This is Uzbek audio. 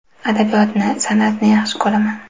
Adabiyotni, san’atni yaxshi ko‘raman.